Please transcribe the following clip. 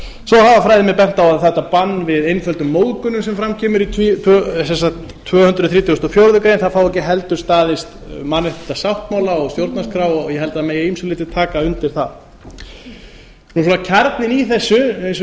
svo hafa fræðimenn bent á að þetta bann við einföldum móðgunum sem fram kemur í tvö hundruð þrítugustu og fjórðu grein fái ekki heldur staðist mannréttindasáttmála og stjórnarskrá ég held að megi að ýmsu leyti taka undir það kjarninn í þessu eins og